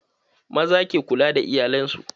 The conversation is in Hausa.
Maza ke kula da iyalan su.